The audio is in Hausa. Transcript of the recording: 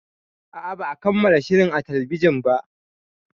A'a, ba a kammala shirin a talbijin ba.